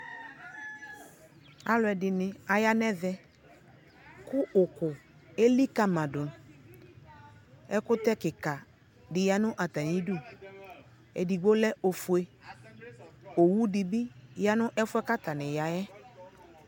ALU ʒdini Zhang Eve kʋ ʋkʋʋ ʒlikamadʋ, ʒkʋtʒ kikaa yanʋ atamidʋ, ʒdigbo lʒ ɔfuʒ, ɔwʋʋ dibi yaanʋ, ʒfʋʒ atani yaa ɛɛ